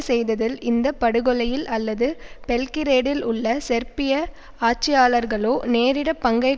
செய்ததில் இந்த படுகொலையில் அல்லது பெல்கிரேடில் உள்ள செர்பிய ஆட்சியாளர்களோ நேரடி பங்கை